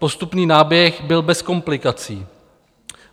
Postupný náběh byl bez komplikací.